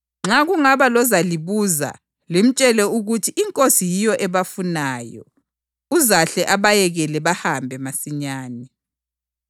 Nxa kungaba lozalibuza, limtshele ukuthi iNkosi yiyo ebafunayo, uzahle abayekele bahambe masinyane.”